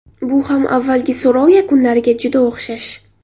Bu ham avvalgi so‘rov yakunlariga juda o‘xshash.